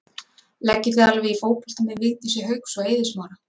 Leggið þið alveg í fótbolta með Vigdísi Hauks og og Eiði Smára?